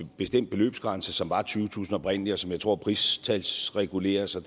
bestemt beløbsgrænse som var tyvetusind oprindeligt og som jeg tror pristalsreguleres og